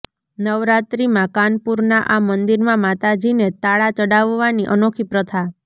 નવરાત્રિમાં કાનપુરના આ મંદિરમાં માતાજીને તાળા ચડાવવાની અનોખી પ્રથા